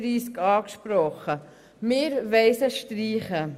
Wir wollen diese beiden Artikel streichen.